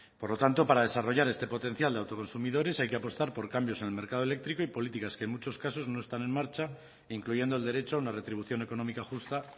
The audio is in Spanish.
por lo tanto para desarrollar este potencial de autoconsumidores hay que apostar por cambios en el mercado eléctrico y políticas que en muchos casos no están en marcha incluyendo el derecho a una retribución económica justa